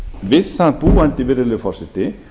við það búandi virðulegur forseti